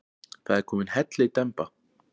Það er komin hellidemba.